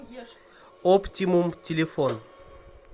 оптимум телефон